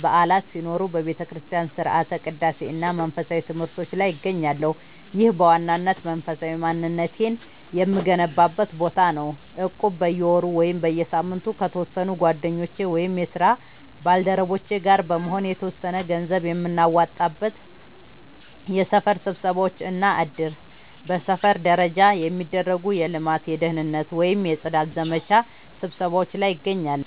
በዓላት ሲኖሩ በቤተክርስቲያን ሥርዓተ ቅዳሴ እና መንፈሳዊ ትምህርቶች ላይ እገኛለሁ። ይህ በዋናነት መንፈሳዊ ማንነቴን የምገነባበት ቦታ ነው። እቁብ፦ በየወሩ ወይም በየሳምንቱ ከተወሰኑ ጓደኞቼ ወይም የስራ ባልደረቦቼ ጋር በመሆን የተወሰነ ገንዘብ የምናዋጣበት። የሰፈር ስብሰባዎች እና እድር፦ በሰፈር ደረጃ የሚደረጉ የልማት፣ የደህንነት ወይም የጽዳት ዘመቻ ስብሰባዎች ላይ እገኛለሁ።